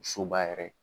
Soba yɛrɛ